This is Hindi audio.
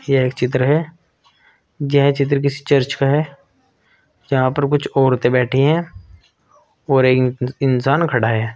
यह एक चित्र है यह चित्र किसी चर्च का है यहां पर कुछ औरते बैठी है और एक इंसान खड़ा है।